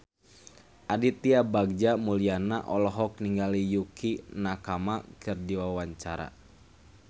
Aditya Bagja Mulyana olohok ningali Yukie Nakama keur diwawancara